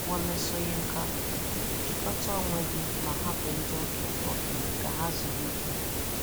Wole Soyinka: jikọta onwe gị ma hapụ ndị okenye okenye ka ha zuru ike